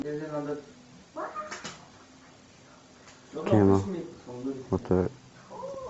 кино